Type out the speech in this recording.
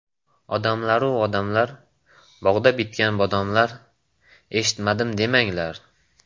Odamlaru odamlar, bog‘da bitgan bodomlar eshitmadim demanglar!